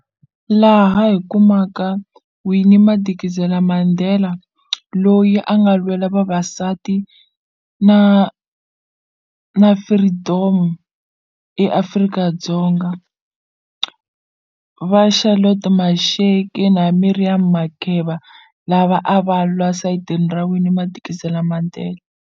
Laha hi kumaka Winnie Madikizela Mandela loyi a nga lwela vavasati na na freedom eAfrika-Dzonga va Charlotte Maxeke na Miriam Makeba lava a va lwa sayitini ra Winnie Madikizela Mandela.